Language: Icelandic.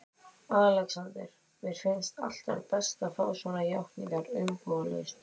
ALEXANDER: Mér finnst alltaf best að fá svona játningar umbúðalaust.